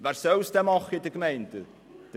Wer soll es denn in den Gemeinden machen?